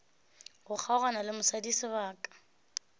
go kgaogana le mosadi sebaka